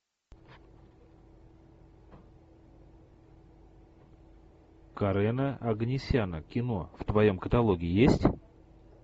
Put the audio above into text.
карена оганесяна кино в твоем каталоге есть